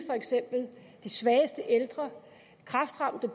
de svageste ældre kræftramte